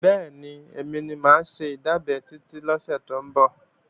Bẹ́ẹ̀ni, èmi ni mà á ṣe ìdábẹ́ lọ́sẹ̀ tó ń bọ̀